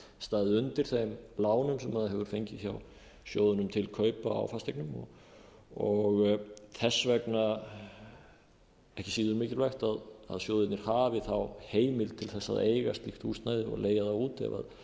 staðið undir þeim lánum sem það hefur fengið hjá sjóðnum til kaupa á fasteignum og þess vegna ekki síður mikilvægt að sjóðirnir hafi heimild til að eiga slíkt húsnæði eða leigja það út